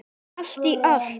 Allt í allt.